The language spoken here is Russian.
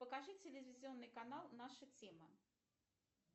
покажи телевизионный канал наша тема